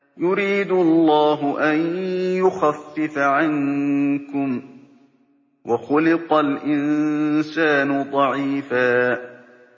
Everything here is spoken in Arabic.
يُرِيدُ اللَّهُ أَن يُخَفِّفَ عَنكُمْ ۚ وَخُلِقَ الْإِنسَانُ ضَعِيفًا